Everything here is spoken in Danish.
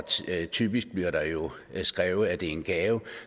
typisk bliver der jo skrevet at det er en gave